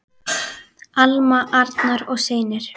Alma, Arnar og synir.